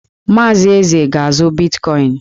Maazị Eze ga-azụ bitkọịn.